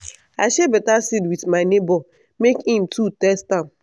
i share better seed with my neighbor make him too test am.